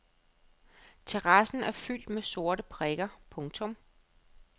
Terrassen er fyldt med sorte prikker. punktum